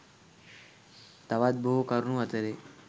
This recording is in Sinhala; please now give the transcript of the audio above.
තවත් බොහෝ කරුණු අතරේ